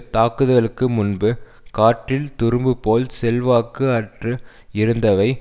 தாக்குதளுக்கு முன்பு காற்றில் துரும்பு போல் செல்வாக்கு அற்று இருந்தவை